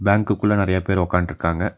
பேங்க்கு குள்ள நறையா பேர் ஒக்காந்ட்ருக்காங்க.